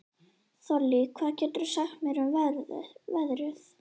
Þollý, hvað geturðu sagt mér um veðrið?